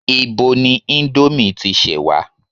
Ibo ni ìndòmí ti ṣẹ wa?